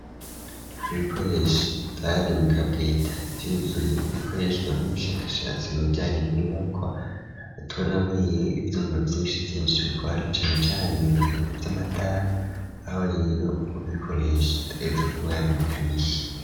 Ibikoresho vyari mu kabweta vyuzuye bikoreshwa n'umushakashatsi mu bijyanyin'inyubaka atubona murieyo ibyuma vyinshi vyinshi bikoranacane cane mu bintu by'amatara aho rero ubikoresha atreza kuba yari umu kanishi.